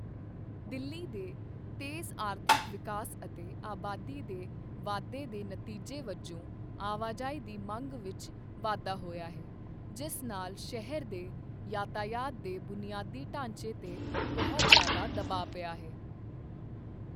ਦਿੱਲੀ ਦੇ ਤੇਜ਼ ਆਰਥਿਕ ਵਿਕਾਸ ਅਤੇ ਆਬਾਦੀ ਦੇ ਵਾਧੇ ਦੇ ਨਤੀਜੇ ਵਜੋਂ ਆਵਾਜਾਈ ਦੀ ਮੰਗ ਵਿੱਚ ਵਾਧਾ ਹੋਇਆ ਹੈ, ਜਿਸ ਨਾਲ ਸ਼ਹਿਰ ਦੇ ਯਾਤਾਯਾਤ ਦੇ ਬੁਨਿਆਦੀ ਢਾਂਚੇ 'ਤੇ ਬਹੁਤ ਜ਼ਿਆਦਾ ਦਬਾਅ ਪਿਆ ਹੈ।